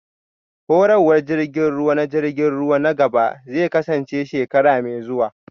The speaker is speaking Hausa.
Horarwar jirgin ruwa na jirgin ruwa na gaba zai kasance shekara mai zuwa